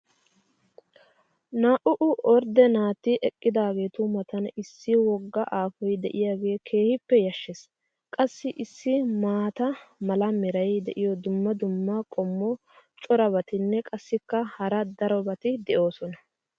Naa"u"u ordde naati eqqaageetu matan issi woga aafoy diyaagee keehi yashshees! qassi issi maata mala meray diyo dumma dumma qommo corabatinne qassikka hara darobatti de'oosona.